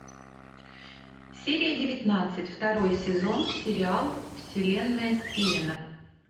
серия девятнадцать второй сезон сериал вселенная стивена